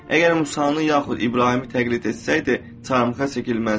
Əgər Musanı yaxud İbrahimi təqlid etsəydi, çarmıxa çəkilməzdi.